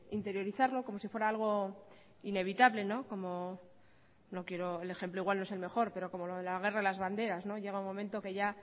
interiorizarlo como si fuera algo inevitable el ejemplo igual no es el mejor pero como lo de la guerra de las banderas llega un momento en el que ya